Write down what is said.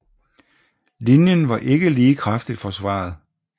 Linjen var ikke lige kraftigt forsvaret